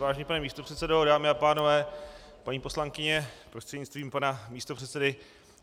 Vážený pane místopředsedo, dámy a pánové, paní poslankyně prostřednictvím pana místopředsedy.